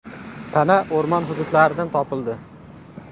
Tana o‘rmon hududlaridan topildi.